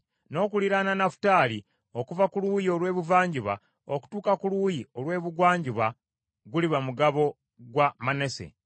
N’okuliraana Nafutaali okuva ku luuyi olw’ebuvanjuba okutuuka ku luuyi olw’ebugwanjuba guliba mugabo gwa Manase.